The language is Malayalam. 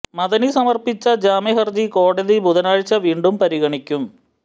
മദനി സമര്പ്പിച്ച ജാമ്യ ഹര്ജി കോടതി ബുധനാഴ്ച വീണ്ടും പരിഗണിക്കും